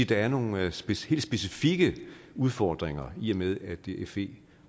der er nogle helt specifikke udfordringer i og med at det er fe